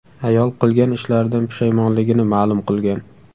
Ayol qilgan ishlaridan pushaymonligini ma’lum qilgan.